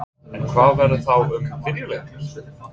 En hvað verður þá um vídeóleigurnar?